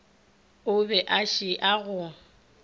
o be a šia go